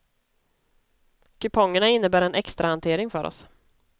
Kupongerna innebär en extrahantering för oss.